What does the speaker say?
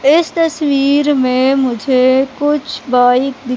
इस तस्वीर में मुझे कुछ बाइक दिख--